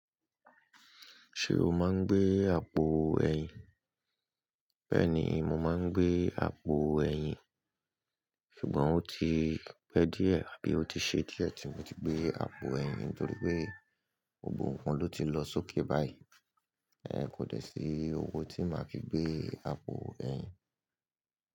Ṣé o máa ń gbé àpò ẹyin? Bẹ́ẹ̀ni, mo máa ń gbé àpò ẹyin. Ṣùgbọ́n ó ti pẹ́ díẹ̀ àbí ó ti ṣe díẹ̀ tí mo ti gbé àpò ẹyin torí pé gbogbo wọn ló ti lọ sókè báyìí. Ẹ̀ kò dẹ̀ sí owó tí màá fi gbé àpò ẹyin.